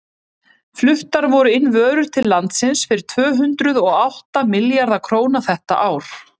fluttar voru inn vörur til landsins fyrir tvö hundruð og átta milljarða króna þetta ár